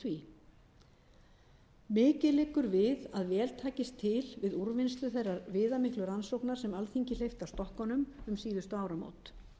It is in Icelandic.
því mikið liggur við að vel takist til um úrvinnslu þeirrar viðamiklu rannsóknar sem alþingi hleypti af stokkunum um síðustu áramót